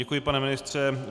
Děkuji, pane ministře.